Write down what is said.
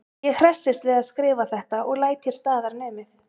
Ég hressist við að skrifa þetta og læt hér staðar numið.